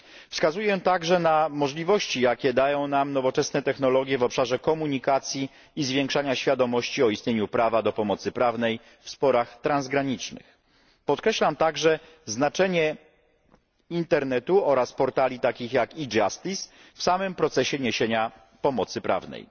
Wskazuję także na możliwości, jakie dają nam nowoczesne technologie w obszarze komunikacji i zwiększania świadomości o istnieniu prawa do pomocy prawnej w sporach transgranicznych. Podkreślam także znaczenie internetu oraz portali takich jak e Justice w samym procesie niesienia pomocy prawnej.